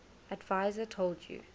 adviser told u